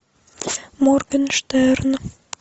моргенштерн